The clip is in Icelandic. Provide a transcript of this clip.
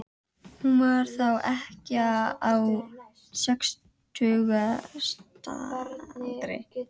Hún var þá ekkja á sextugsaldri.